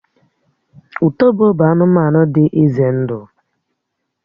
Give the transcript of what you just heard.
Ùtòbó bụ anụmanụ dị ìzé ndụ